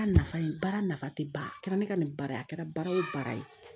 Baara nafa ye baara nafa tɛ ban a kɛra ne ka nin baara ye a kɛra baara o baara ye